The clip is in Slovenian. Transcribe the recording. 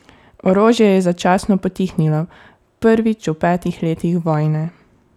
Orožje je začasno potihnilo, prvič v petih letih vojne.